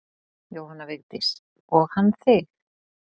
Jóhanna Vigdís: Og hann þig?